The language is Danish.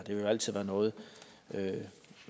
vil jo altid være noget